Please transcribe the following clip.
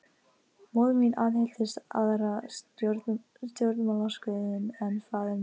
Móðir mín aðhylltist aðra stjórnmálaskoðun en faðir minn.